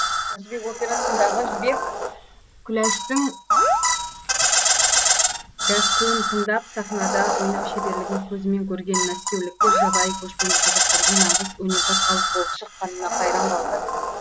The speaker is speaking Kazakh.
қыз жібек операсындағы жібек күләштің гәккуін тыңдап сахнада ойнау шеберлігін көзімен көрген мәскеуліктер жабайы көшпенді қазақтардың нағыз өнерпаз халық болып шыққанына қайран қалды